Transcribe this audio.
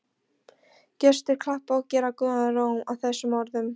Gestir klappa og gera góðan róm að þessum orðum.